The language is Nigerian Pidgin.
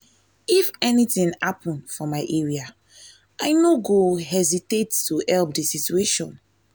if anything happen for my area i no go go hesitate to help di situation.